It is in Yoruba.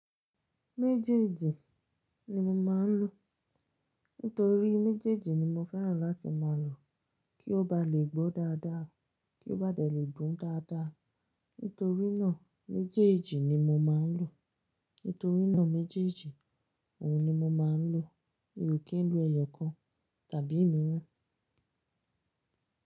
Méjèèjì ni mo má n lò nítorí méjèèjì ni mo fẹ́ràn láti máa lò kí ó ba lè gbó dáadáa, kí ó bá dé lè dùn dáadáa. Nítorí náà méjèèjì ni mo máa ń lò. Nítorí náà méjèèjì, òhun ni mo má ń lò. Mi ò kì n lo ẹyọ kan tàbí òmíràn.